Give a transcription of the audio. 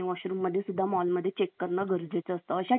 कारण गरजेचे असते , अशा ठिकाणी सिकत्व नकोत